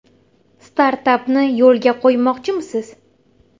Startapni yo‘lga qo‘ymoqchimisiz?